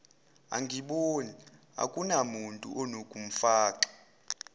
angiboni akunamuntu unokumfaka